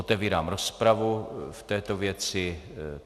Otevírám rozpravu v této věci.